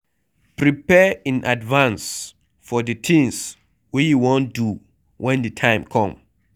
Prepare in advance for the things wey you wan do when di time come